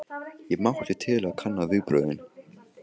Ég mátti til að kanna viðbrögðin.